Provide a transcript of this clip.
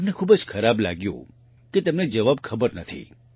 તેને ખૂબ જ ખરાબ લાગ્યું કે તેને જવાબ ખબર નથી